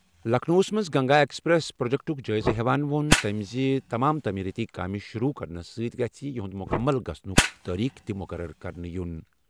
لکھنؤَس منٛز Ganga expressway پروجیکٹُک جٲیزٕ نِوان ووٚن تٔمۍ زِ تمام تعمیٖرٲتی کامہِ شروٗع کرنہٕ سۭتۍ سۭتۍ گژھِ یِہنٛدِ مُکمل گژھنُک تٲریخ تہِ مُقرر کرنہٕ یُن۔